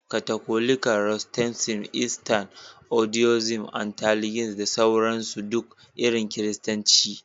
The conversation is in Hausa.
Katolika, protestantism, Eastern Orthodoxy, Anglicanism da sauran su ne duk irin Kiristanci.